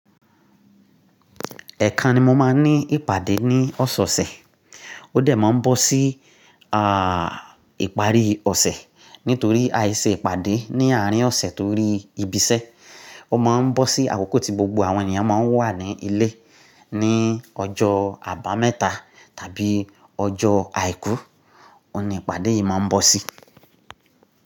Ẹ̀eka ni mo máa ń ní ìpàdé ní ọ̀sẹ̀ẹ̀sẹ̀. Ó dẹ̀ máa ń bọ́ sí, ah, ìparí ọ̀sẹ̀ nítorí ai ṣe ìpàdé ní àárín ọ̀sẹ̀ torí ibiṣẹ́. Ó má ń bọ́ sí àkókò tí gbogbo àwọn ènìyàn má ń wà ní ilé. Ní ọjọ́ àbámẹ́ta tàbí ọjọ́ àìkú, òun ni ìpàdé yìí má ń bọ́ sí.